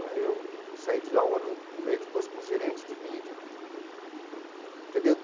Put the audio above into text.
Aí eu saí de lá um ano e meio depois como gerente de mídia entendeu.